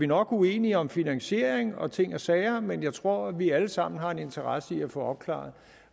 nok uenige om finansiering og ting og sager men jeg tror at vi alle sammen har en interesse i at få opklaret